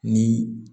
Ni